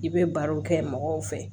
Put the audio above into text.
I bɛ barow kɛ mɔgɔw fɛ